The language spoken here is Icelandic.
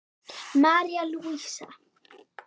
María Lúísa.